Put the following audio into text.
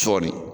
Sɔɔni